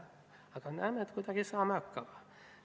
Aga näeme, et kuidagi saame hakkama.